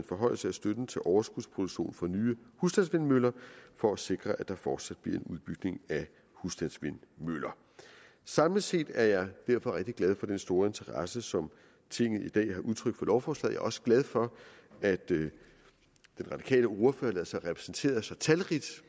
forhøjelse af støtten til overskudsproduktion for nye husstandsvindmøller for at sikre at der fortsat bliver en udbygning af husstandsvindmøller samlet set er jeg derfor rigtig glad for den store interesse som tinget i dag har udtrykt for lovforslaget også glad for at den radikale ordfører lader sig repræsentere så talrigt